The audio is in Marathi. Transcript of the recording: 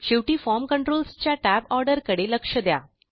शेवटी फॉर्म कंट्रोल्स च्या Tab ऑर्डर कडे लक्ष द्या